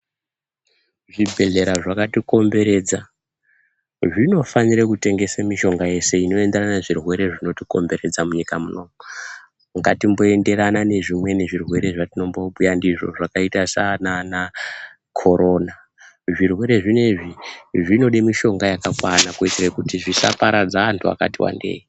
Zvibhedhlera zvakatikomberedza zvinofanira kutengesa mishonga yese inoenderana nezvirwere zvinotikomberedza munyika munomu ngatimboenderana nezvimweni zvirwere zvatinombobhuya ndizvo zvakaita sanana korona , zvirwere zvinezvi zvinoda mishonga yakakwana kuitira kuti zvisaparadza antu akati wandei.